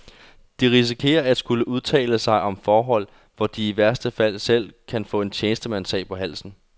De risikerer at skulle udtale sig om forhold, hvor de i værste fald selv kan få en tjenestemandsag på halsen.